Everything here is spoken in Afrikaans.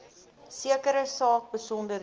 sekere saak besonderhede